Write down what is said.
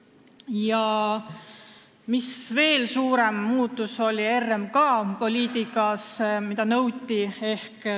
Ja veel nõuti üht suuremat muutust RMK poliitikas.